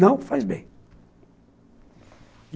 Não faz bem.